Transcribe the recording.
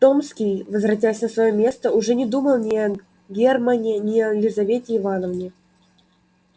томский возвратясь на своё место уже не думал ни о германне ни о лизавете ивановне